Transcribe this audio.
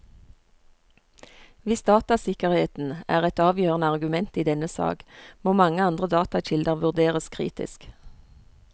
Hvis datasikkerheden er et afgørende argument i denne sag, må mange andre datakilder vurderes kritisk.